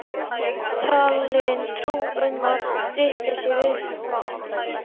Manni er talin trú um að drykkja sé viðkvæmt mál.